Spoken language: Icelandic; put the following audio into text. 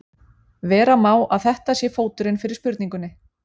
vera má að þetta sé fóturinn fyrir spurningunni